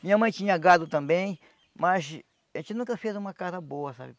Minha mãe tinha gado também, mas a gente nunca fez uma casa boa, sabe?